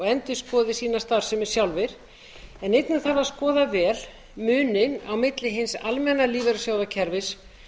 endurskoði sína starfsemi sjálfir en einnig þarf að skoða vel muninn á milli hins almenna lífeyrissjóðakerfis